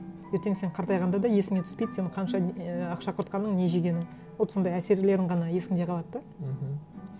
ертең сен қартайғанда да есіңе түспейді сен қанша не ақша құртқаның не жегенің вот сондай әсерлерің ғана есіңде қалады да мхм